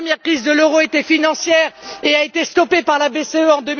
La première crise de l'euro était financière et a été stoppée par la BCE,